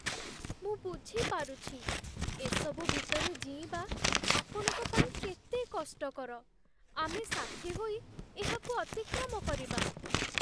ମୁଁ ବୁଝିପାରୁଛି, ଏସବୁ ଭିତରେ ଜୀଇଁବା ଆପଣଙ୍କ ପାଇଁ କେତେ କଷ୍ଟକର! ଆମେ ସାଥୀ ହୋଇ ଏହାକୁ ଅତିକ୍ରମ କରିବା।